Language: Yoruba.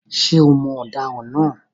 Ṣé o mọ ọ̀daràn náà?